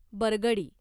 बरगडी